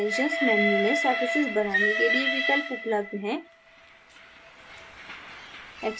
extensions menu में surfaces बनाने के लिए विकल्प उपलब्ध है